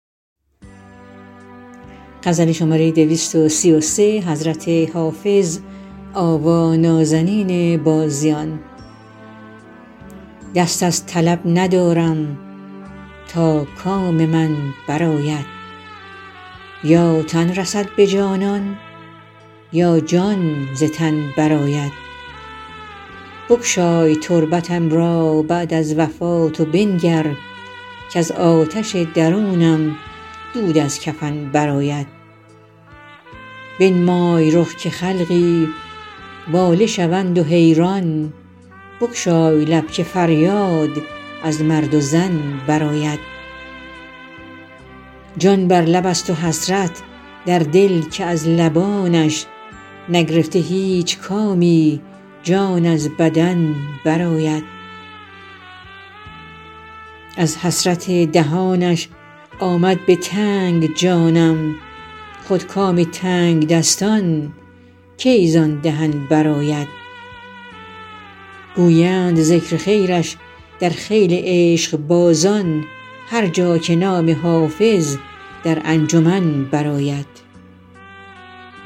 دست از طلب ندارم تا کام من برآید یا تن رسد به جانان یا جان ز تن برآید بگشای تربتم را بعد از وفات و بنگر کز آتش درونم دود از کفن برآید بنمای رخ که خلقی واله شوند و حیران بگشای لب که فریاد از مرد و زن برآید جان بر لب است و حسرت در دل که از لبانش نگرفته هیچ کامی جان از بدن برآید از حسرت دهانش آمد به تنگ جانم خود کام تنگدستان کی زان دهن برآید گویند ذکر خیرش در خیل عشقبازان هر جا که نام حافظ در انجمن برآید